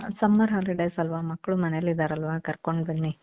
summer holidays ಅಲ್ವ ಮಕ್ಳು ಮನೇಲಿ ಇದ್ದಾರಲ್ವಾ ಕರ್ಕೊಂಡ್ ಬನ್ನಿ